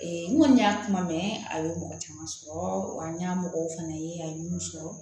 n kɔni y'a kuma mɛn a ye mɔgɔ caman sɔrɔ an ɲamɔgɔw fana ye a ye min sɔrɔ